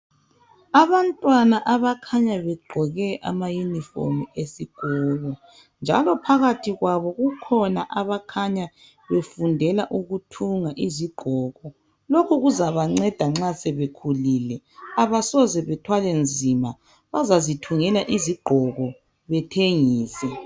Abantwana abakhanya begqoke amayunifomu esikolo njalo phakathi kwabo kukhona abakhanya befundela ukuthunga izigqoko. Lokhu kuzabanceda nxa sebekhulile, abasoze bethwale nzima bazazithungela izigqoko bethengise.